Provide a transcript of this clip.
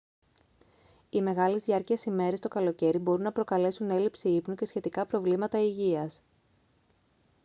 οι μεγάλης διάρκειας ημέρες το καλοκαίρι μπορούν να προκαλέσουν έλλειψη ύπνου και σχετικά προβλήματα υγείας